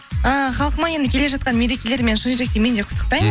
ы халқыма енді келе жатқан мерекелерімен шын жүректен мен де құттықтаймын